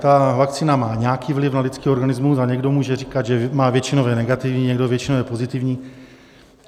Ta vakcína má nějaký vliv na lidský organismus a někdo může říkat, že má většinově negativní, někdo většinově pozitivní.